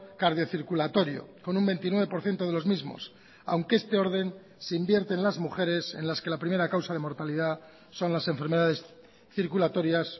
cardiocirculatorio con un veintinueve por ciento de los mismos aunque este orden se invierte en las mujeres en las que la primera causa de mortalidad son las enfermedades circulatorias